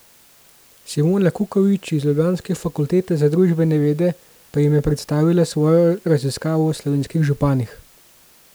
Simona Kukovič iz ljubljanske fakultete za družbene vede pa jim je predstavila svojo raziskavo o slovenskih županih.